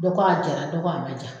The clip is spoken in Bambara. Dɔ ko a jɛra, dɔ ko a ma jɛ.